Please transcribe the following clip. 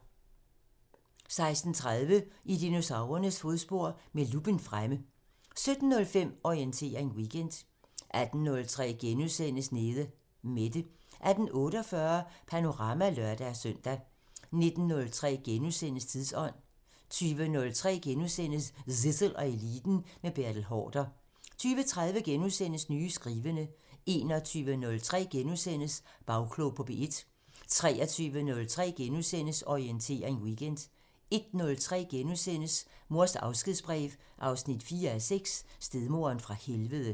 16:30: I dinosaurernes fodspor – med luppen fremme 17:05: Orientering Weekend 18:03: Nede Mette * 18:48: Panorama (lør-søn) 19:03: Tidsånd * 20:03: Zissel og Eliten: Med Bertel Haarder * 20:30: Nye skrivende * 21:03: Bagklog på P1 * 23:03: Orientering Weekend * 01:03: Mors afskedsbrev 4:6 – Stedmoderen fra helvede *